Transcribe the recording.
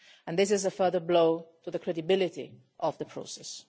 This is a further blow to the credibility of the process.